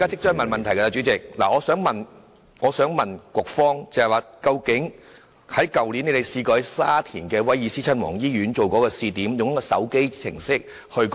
主席，我想詢問局方有關去年以沙田威爾斯親王醫院作試點的一項計劃。